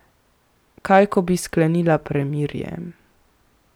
Kaj, ko bi sklenila premirje?